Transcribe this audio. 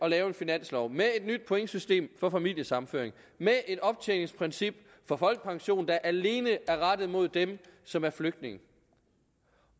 at lave en finanslov med et nyt pointsystem for familiesammenføring og med et optjeningsprincip for folkepension der alene er rettet mod dem som er flygtninge